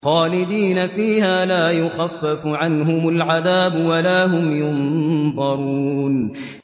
خَالِدِينَ فِيهَا لَا يُخَفَّفُ عَنْهُمُ الْعَذَابُ وَلَا هُمْ يُنظَرُونَ